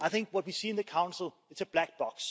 I think what we see in the Council is a black box.